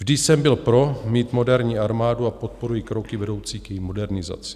Vždy jsem byl pro, mít moderní armádu, a podporuji kroky vedoucí k její modernizaci.